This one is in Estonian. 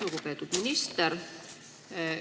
Lugupeetud minister!